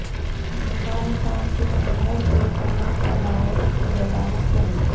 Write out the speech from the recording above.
مبارک باد کے اندر کے تمام فوائد کی وضاحت کریں